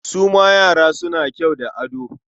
Su ma yara suna kyau da ado?